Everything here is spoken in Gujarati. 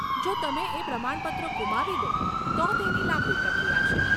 જો તમે એ પ્રમાણપત્રો ગુમાવી દો, તો તેની લાંબી પ્રક્રિયા છે